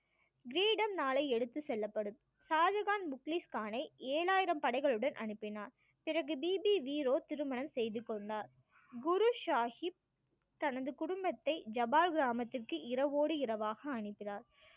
கிரீட ம் நாளை எடுத்து செல்லப்படும் ஷாஜகான் பில்கிஸ் கானை ஏழாயிரம் படைகளுடன் அனுப்பினார் பிறகு தீபி வீரோ திருமணம் செய்து கொண்டார் குரு சாஹிப் தனது குடும்பத்தை ஜபால் கிராமத்திற்கு இரவோடு இரவாக அனுப்பினார்